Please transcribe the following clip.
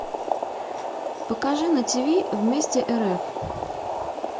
покажи на тв вместе рф